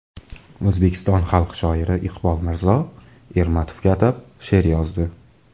O‘zbekiston xalq shoiri Iqbol Mirzo Ermatovga atab she’r yozdi.